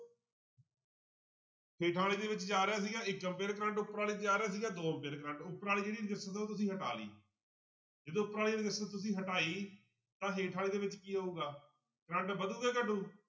ਹੇਠਾਂ ਵਾਲੇ ਦੇ ਵਿੱਚ ਜਾ ਰਿਹਾ ਸੀਗਾ ਕਰੰਟ ਉੱਪਰ ਵਾਲੀ 'ਚ ਜਾ ਰਿਹਾ ਸੀਗਾ ਦੋ ਕਰੰਟ ਉੱਪਰ ਵਾਲੀ ਜਿਹੜੀ resistance ਆ ਉਹ ਤੁਸੀਂ ਹਟਾ ਲਈ ਜਦੋਂ ਉੱਪਰ ਵਾਲੀ resistance ਤੁਸੀਂ ਹਟਾਈ ਤਾਂ ਹੇਠਾਂ ਵਾਲੀ ਦੇ ਵਿੱਚ ਕੀ ਹੋਊਗਾ, ਕਰੰਟ ਵਧੂ ਜਾ ਘਟੂ?